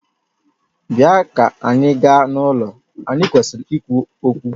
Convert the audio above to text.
Bịa ka anyị gaa n'ụlọ, anyị kwesịrị ikwu okwu